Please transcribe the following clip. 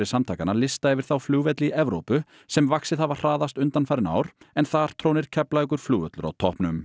samtakanna lista yfir þá flugvelli í Evrópu sem vaxið hafa hraðast undanfarin ár en þar trónir Keflavíkurflugvöllur á toppnum